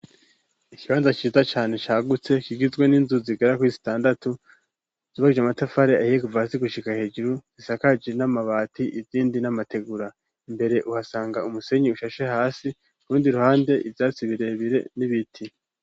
Ikibanza ciza cane cagutse, kigizwe n'inzu zigera kuri zitandatu zubakishije amatafari ahiye kuva hasi gushika hejuru, zisakaje n'amabati, izindi n'amategura, imbere uhasanga umusenyi ushashe hasi, kurundi ruhande ivyatsi birebire n'ibiti.